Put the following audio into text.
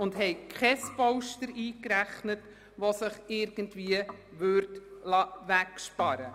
Wir haben deshalb kein Polster eingerechnet, das sich irgendwie wegsparen liesse.